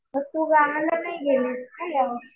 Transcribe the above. मग तू गावाला नाही गेलीस का या वर्षी?